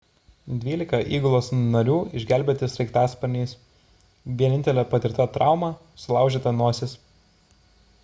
dvylika įgulos narių išgelbėti sraigtasparniais vienintelė patirta trauma – sulaužyta nosis